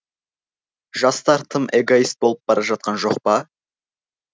жастар тым эгоист болып бара жатқан жоқ па